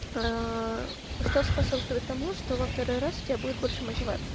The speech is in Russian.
аа что способствует тому что во второй раз у тебя будет больше мативации